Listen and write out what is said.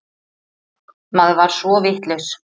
Maður var svo vitlaus.